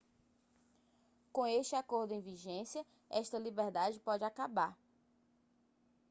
com este acordo em vigência esta liberdade pode acabar